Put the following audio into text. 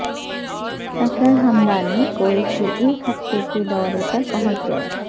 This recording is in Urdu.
صفدر ھمدانی کویت کے ایک ہفتے کے دورے پر پہنچ گئے